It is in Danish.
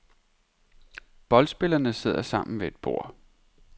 Boldspillerne sidder sammen ved et bord.